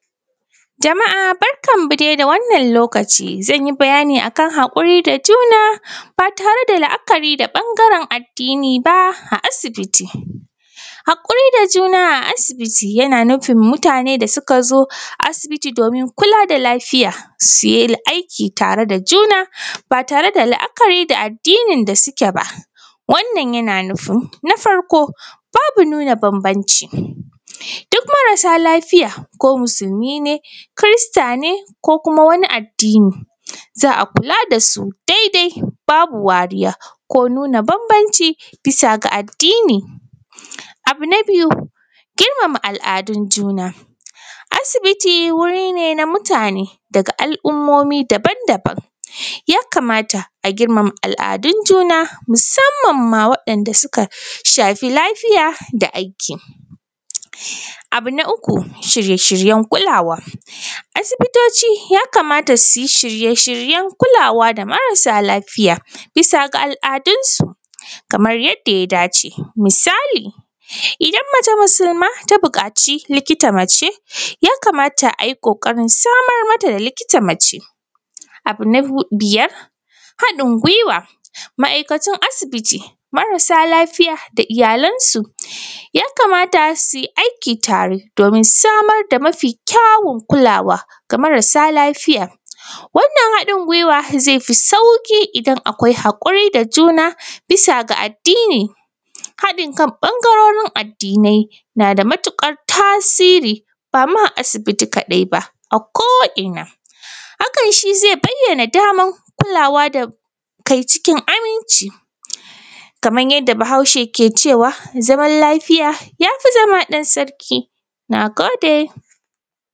Jama’a barkanmu dai da wannan lokaci zan yi bayani akan haƙuri da juna ba tare da la’a kari da ɓangaren addini ba a asibiti. Haƙuri da juna a asibiti yana nufin mutanen da suka zo asbiti domin kula da lafiya su yi aiki tare da juna ba tare da la’akari da addinin da suke ba, wannan yana nufin na farko babu nuna bambanci duk marasa lafiya ko musulmi ne kirista ne ko kuma wani addini za a kula da shi daidai babu wariya ko nuna bambanci bisa da addini. Abu na biyu girmama al’adu, asibiti wuri ne na mutane daga al’ummaomi daban-daban ya kamata a girmama al’adun juna musamman ma waɗanda suka shafi lafiya da aiki, abu na uku shirye-shiryen kulawa asibitoci ya kamata su yi shirye-shiryen kula wa da marasa lafiya bisa ga al’adunsu kamar yadda ya dace misali idan mace musulma ta buƙaci likita mace ya kamata a yi ƙoƙarin samar mata da likita mace. Abu na biyar haɗin gwiwan ma’aikatun asibiti, marasa lafiya da iyalansu ya kamata su yi aiki tare domin samar da mafi kyaun kulawa game da marasa lafiya, wannan haɗin gwiwa ze fi sauƙi idan akwai haƙuri da juna bisa ga addini, haɗin kan ɓangarorin addinai na da matuƙar tasiri ba ma a asibiti kaɗai ba ako’ina hakan shi ze bayyana daman kulawa da kai cikin aminci kamar yadda Bahauce ke cewa zaman lafiya ya fi zama ɗan sarki. Na gode.